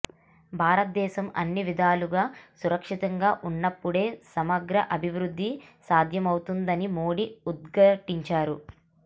భారత దేశం అన్ని విధాలుగా సురక్షితంగా ఉన్నప్పుడే సమగ్ర అభివృద్ధి సాధ్యమవుతుందని మోదీ ఉద్ఘాటించారు